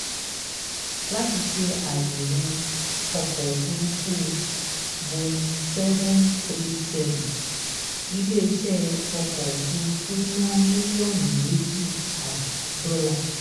láti ṣe ayèwò ọkọ̀ òfuurufú boeing seven hundred thirty seven ilé eṣẹ ọkọ̀ ofurufu náa mílíòọnù méjì ààbò dọ́là.